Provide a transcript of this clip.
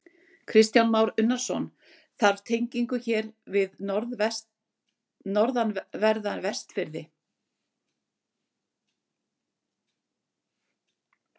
Kristján Már Unnarsson: Þarf tengingu hér við norðanverða Vestfirði?